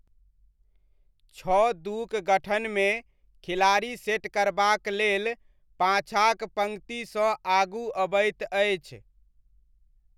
छओ दू'क गठनमे, खिलाड़ी सेट करबाक लेल पाछाँक पङ्क्तिसँ आगू अबैत अछि।